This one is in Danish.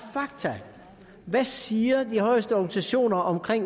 hvad siger de højeste organisationer om